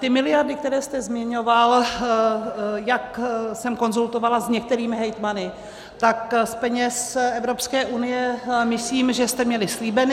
Ty miliardy, které jste zmiňoval, jak jsem konzultovala s některými hejtmany, tak z peněz Evropské unie myslím, že jste měli slíbeny.